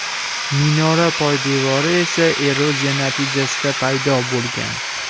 Minora poydevori esa eroziya natijasida paydo bo‘lgan.